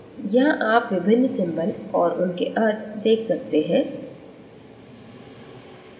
यहाँ आप विभिन्न symbols और उनके अर्थ देख सकते हैं